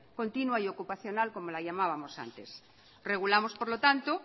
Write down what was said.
continua y ocupacional como la llamábamos antes regulamos por lo tanto